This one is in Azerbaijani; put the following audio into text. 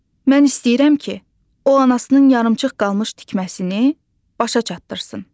Mən istəyirəm ki, o anasının yarımçıq qalmış tikməsini başa çatdırsın.